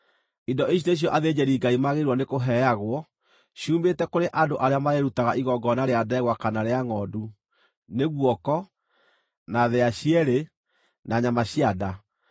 Indo ici nĩcio athĩnjĩri-Ngai magĩrĩirwo nĩ kũheagwo ciumĩte kũrĩ andũ arĩa marĩrutaga igongona rĩa ndegwa kana rĩa ngʼondu: nĩ guoko, na thĩĩa cierĩ, na nyama cia nda.